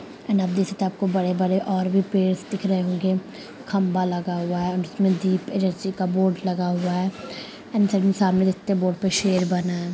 And आप देख सकते हैं आपको बड़े-बड़े और भी पेडस दिख रहे होंगे | खंभा लगा हुआ है और उसमें दीप एजेंसी का बोर्ड लगा हुआ है एंड सामने देख सकते हैं बोर्ड पे शेर बना है ।